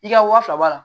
I ka wa fila b'a la